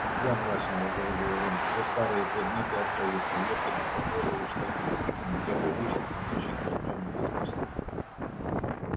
нельзя мрачно возразил рон все старые предметы остаются если бы позволили что-нибудь выкинуть я бы вычеркнул защиту от тёмных искусств